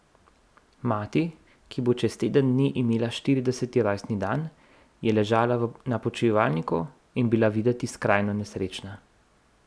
Mati, ki bo čez teden dni imela štirideseti rojstni dan, je ležala na počivalniku in bila videti skrajno nesrečna.